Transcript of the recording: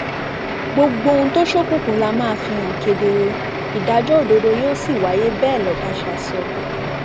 gbogbo ohun tó ṣókùnkùn la máa fìhàn kedere ìdájọ òdodo yóò sì wáyé bẹẹ lọbàṣá sọ